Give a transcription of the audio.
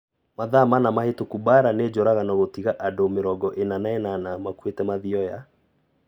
Mathaa mana mahĩtũku Mbaara nĩ njũragano gũtiga andũ mĩrongo ina na inana makuĩte Mathioya